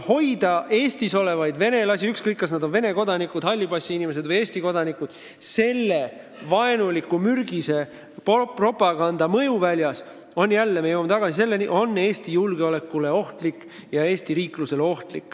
Ja Eestis olevate venelaste hoidmine – ükskõik, kas nad on Vene kodanikud, hallipassiinimesed või Eesti kodanikud – selle vaenuliku, mürgise propaganda mõjuväljas on ohtlik Eesti julgeolekule ja riiklusele.